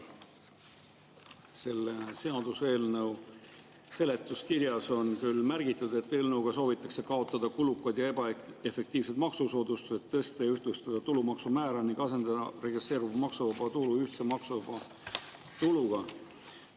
Selle seaduseelnõu seletuskirjas on märgitud, et eelnõuga soovitakse kaotada kulukad ja ebaefektiivsed maksusoodustused, tõsta ja ühtlustada tulumaksumäära ning asendada progresseeruv maksuvaba tulu ühtse maksuvaba tuluga.